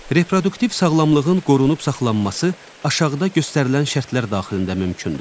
Reproduktiv sağlamlığın qorunub saxlanması aşağıda göstərilən şərtlər daxilində mümkündür.